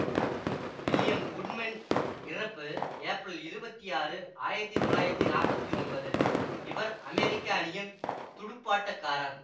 William Goodman இறப்பு ஏப்ரல் இருவத்தி ஆறு ஆயிரத்தி தொள்ளாயிரத்தி நாப்பத்தி ஒன்பது இவர் அமெரிக்க அணியின் துடுப்பாட்டக்காரர்